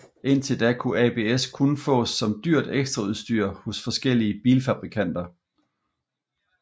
Indtil da kunne ABS kun fås som dyrt ekstraudstyr hos forskellige bilfabrikanter